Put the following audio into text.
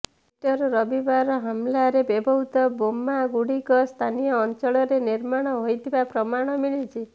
Easter ରବିବାର ହମ୍ଲାରେ ବ୍ୟବହୃତ ବୋମା ଗୁଡ଼ିକ ସ୍ଥାନୀୟ ଅଞ୍ଚଳରେ ନିର୍ମାଣ ହୋଇଥିବା ପ୍ରମାଣ ମିଳିଛି